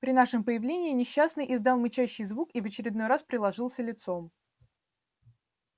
при нашем появлении несчастный издал мычащий звук и в очередной раз приложился лицом